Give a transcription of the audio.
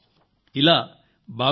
మీరింకా దీనిపై సూచనలు పంపండి